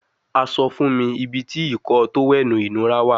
A sọ fun mi ibiti Ìkọ́ọ tówẹ́ẹ̀nù inura wa